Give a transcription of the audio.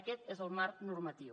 aquest és el marc normatiu